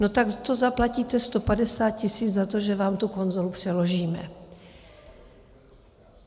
No tak to zaplatíte 150 tisíc za to, že vám tu konzolu přeložíme.